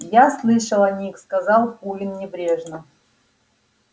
я слышал о них сказал куинн небрежно